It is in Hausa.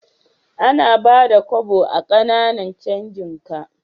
Ana Bada Kobo a Kananan canjika